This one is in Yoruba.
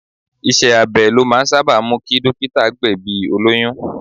Iṣẹ́ abẹ ló máa ń sábà mú kí dókítà gbẹ̀bi olóyún.